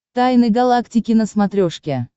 тайны галактики на смотрешке